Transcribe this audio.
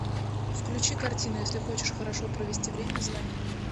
включи картину если хочешь хорошо провести время звони